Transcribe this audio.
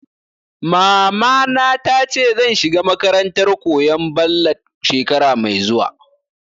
Mamana ta ce zan shiga makarantar koyan ballad shekara mai zuwa